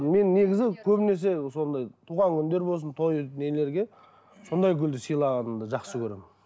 мен негізі көбінесе сондай туған күндер болсын той нелерге сондай гүлді сыйлағанды жақсы көремін